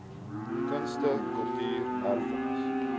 kunste kultuur erfenis